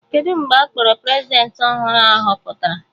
Kedụ mgbe a kpọrọ Prezidentị ọhụrụ a họpụtara?